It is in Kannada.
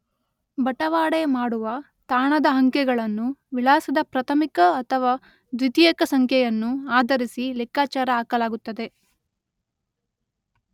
ಬಟವಾಡೆ ಮಾಡುವ, ತಾಣದ ಅಂಕೆಗಳನ್ನು ವಿಳಾಸದ ಪ್ರಾಥಮಿಕ ಅಥವಾ ದ್ವಿತೀಯಕ ಸಂಖ್ಯೆಯನ್ನು ಆಧರಿಸಿ ಲೆಕ್ಕಾಚಾರ ಹಾಕಲಾಗುತ್ತದೆ.